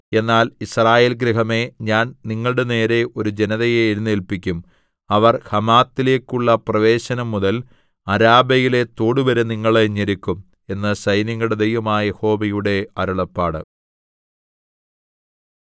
എന്നാൽ യിസ്രായേൽ ഗൃഹമേ ഞാൻ നിങ്ങളുടെനേരെ ഒരു ജനതയെ എഴുന്നേല്പിക്കും അവർ ഹമാത്തിലേക്കുള്ള പ്രവേശനംമുതൽ അരാബയിലെ തോടുവരെ നിങ്ങളെ ഞെരുക്കും എന്ന് സൈന്യങ്ങളുടെ ദൈവമായ യഹോവയുടെ അരുളപ്പാട്